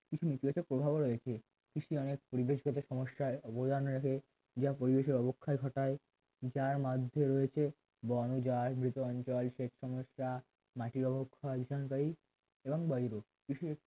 কিছু নীতিবাচক প্রভাবও রয়েছে কৃষি অনেক পরিবেশগত সমস্যায় অবদান রাখে যা পরিবেশের অবক্ষয় ঘটায় যার মাধ্যমে রয়েছে বড় যাই বৃত অঞ্চল সেচ সমস্যা মাটির অবক্ষয় এখানে প্রায় এবং বাড়িরও